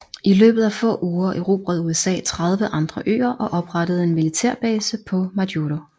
I løbet af få uger erobrede USA 30 andre øer og oprettede en militærbase på Majuro